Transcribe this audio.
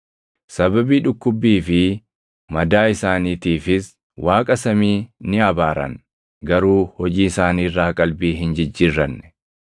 sababii dhukkubbii fi madaa isaaniitiifis Waaqa samii ni abaaran; garuu hojii isaanii irraa qalbii hin jijjiirranne.